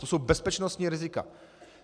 To jsou bezpečnostní rizika.